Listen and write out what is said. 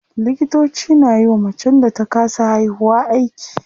Likitoci na yiwa macen da ta kasa haihuwa aiki.